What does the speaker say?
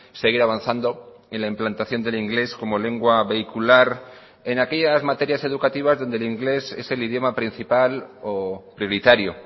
seguir avanzando en la implantación del inglés como lengua vehicular en aquellas materias educativas donde el inglés es el idioma principal o prioritario